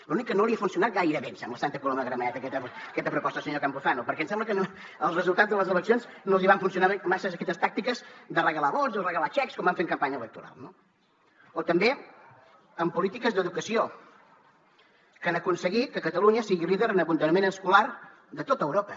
l’únic que no li ha funcionat gaire bé em sembla a santa coloma de gramenet aquesta proposta al senyor campuzano perquè em sembla que als resultats de les eleccions no els hi van funcionar massa aquestes tàctiques de regalar vots i regalar xecs com van fer en campanya electoral no o també amb polítiques d’educació que han aconseguit que catalunya sigui líder en abandonament escolar de tot europa